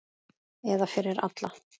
Eða fyrir alla.